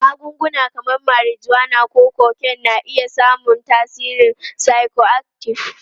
Magunguna kamar marijuana ko cocaine na iya samun tasirin psychoactive.